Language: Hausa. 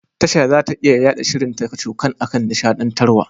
Tasha zata iya yaɗa shirin ta kacokan akan nishaɗantarwa.